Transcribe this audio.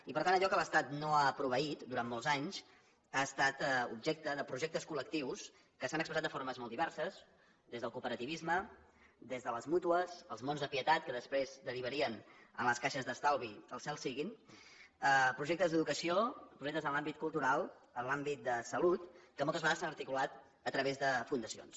i per tant allò que l’estat no ha proveït durant molts anys ha estat objecte de projectes col·lectius que s’han expressat de formes molt diverses des del cooperativisme des de les mútues els monts de pietat que després derivarien en les caixes d’estalvi al cel siguin projectes d’educació projectes en l’àmbit cultural en l’àmbit de salut que moltes vegades s’han articulat a través de fundacions